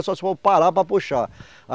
Só se for parar para puxar.